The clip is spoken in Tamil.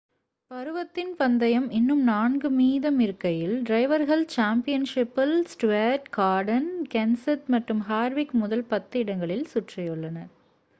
பருவத்தின் பந்தயம் இன்னும் நான்கு மீதமிருக்கையில் டிரைவர்கள் சாம்பியன் ஷிப்பில் ஸ்டூவர்ட் கார்டன் கென்செத் மற்றும் ஹார்விக் முதல் பத்து இடங்களில் சுற்றியுள்ளனர்